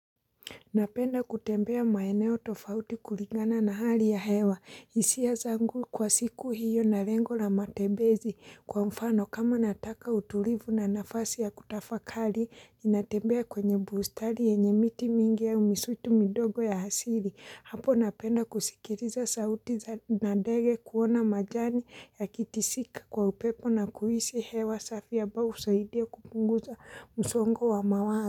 Napenda kutembea maeneo tofauti kulingana na hali ya hewa. Hisia zangu kwa siku hiyo na lengo la matembezi kwa mfano. Kama nataka utulivu na nafasi ya kutafakali, ninatembea kwenye bustari yenye miti mingi au misutu midogo ya hasili. Hapo napenda kusikiriza sauti na dege kuona majani yakitisika kwa upepo na kuhisi hewa safi ambao husaidia kupunguza msongo wa mawazo.